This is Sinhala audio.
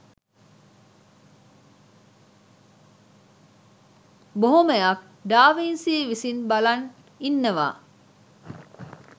බොහොමයක් ඩා වින්සි විසින් බලන් ඉන්නවා